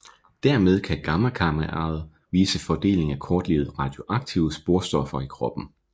Dermed kan gammakameraet vise fordelingen af kortlivede radioaktive sporstoffer i kroppen